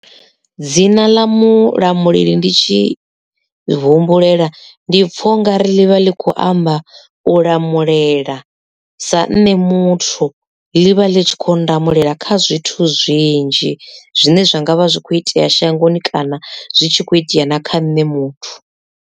Dzina ḽa mulamuleli ndi tshi humbulela ndi pfha ungari ḽivha ḽi kho amba u lamulela sa nne muthu ḽi vha ḽi tshi kho ndamulela kha zwithu zwinzhi zwine zwa ngavha zwi kho itea shangoni kana zwi tshi khou itea na kha nṋe muthu.